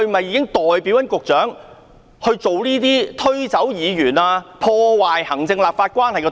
是否代表局長推搪議員，破壞行政立法關係？